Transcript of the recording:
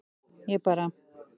Ég bara